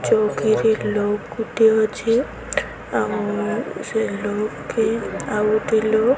ଚୌକି ରେ ଲୋକ୍ ଗୋଟେ ଅଛେ ଆଉ ସେ ଲୋକ କେ ଆଉ ଗୋଟେ ଲୋକ --